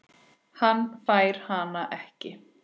Hann fær hana ekki.